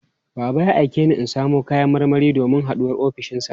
Baba ya aike ni in samo kayan marmari domin haɗuwar ofishinsa.